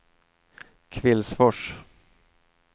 Kvillsfors